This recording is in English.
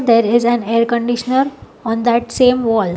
There is a air conditioner on that same wall.